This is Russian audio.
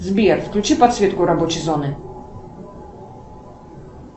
сбер включи подсветку рабочей зоны